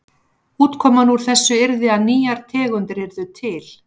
Útkoman úr þessu yrði að nýjar tegundir yrðu til.